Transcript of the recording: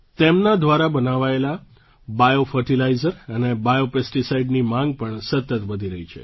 તેમના દ્વારા બનાવાયેલાં બાયોફર્ટિલાઇઝર અને બાયોપેસ્ટિસાઇડની માંગ પણ સતત વધી રહી છે